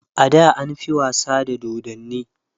ada an fi wasa da dodanni